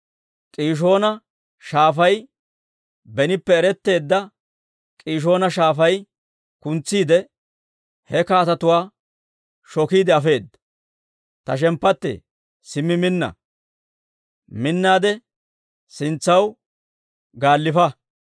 K'iishoona Shaafay, benippe, eretteedda K'iishoona Shaafay kuntsiide, he kaatetuwaa shokiide afeedda. Ta shemppattee, simmi minna; sintsaw gaallifa.